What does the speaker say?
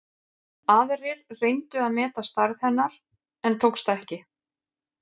Aðrir reyndu að meta stærð hennar en tókst ekki.